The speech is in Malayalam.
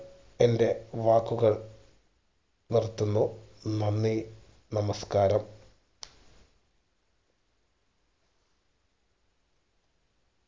എന്റെ വാക്കുകൾ നിർത്തുന്നു നന്ദി നമസ്ക്കാരം